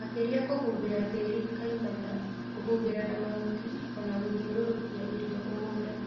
Makeria kuhũmbira tĩri kaimana, kũhumbĩra na mahuti ona gũthiũrũrũkia irio mũgũnda